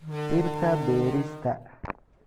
Dhirta beerista.